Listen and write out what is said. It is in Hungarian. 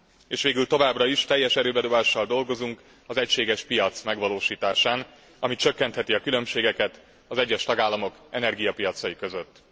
És végül, továbbra is teljes erőbedobással dolgozunk az egységes piac megvalósításán, ami csökkentheti a különbségeket az egyes tagállamok energiapiacai között.